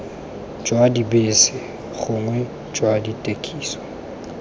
jwa dibese gongwe jwa dithekisi